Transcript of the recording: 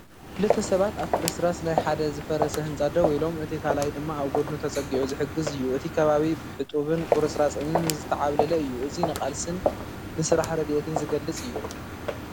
ክልተ ሰባት ኣብ ፍርስራስ ናይ ሓደ ዝፈረሰ ህንጻ ደው ኢሎም። እቲ ካልኣይ ድማ ኣብ ጎድኑ ተጸጊዑ ክሕግዝ እዩ። እቲ ከባቢ ብሕጡብን ቁርጽራጽ እምንን ዝተዓብለለ እዩ። እዚ ንቓልስን ንስራሕ ረድኤትን ዝገልጽ እዩ።